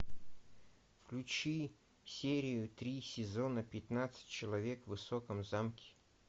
включи серию три сезона пятнадцать человек в высоком замке